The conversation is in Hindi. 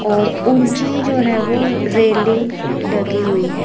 और ऊंची जो है वो रेलिंग लगी हुई है।